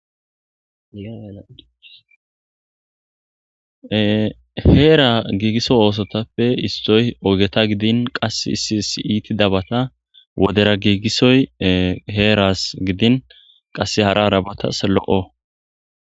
heera giigiso oosotappe istoy ogeta gidin qas isi si iiti dabata wodera giigisoy heeras gidin qasse hara arabatas lo7o